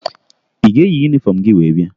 Ị ga-eyi yunifọmụ gị wee bịa?